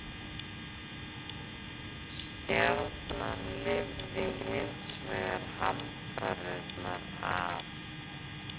Stjarnan lifði hins vegar hamfarirnar af.